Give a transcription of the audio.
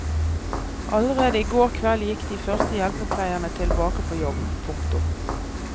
Allerede i går kveld gikk de første hjelpepleierne tilbake på jobb. punktum